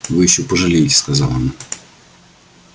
вы ещё пожалеете сказала она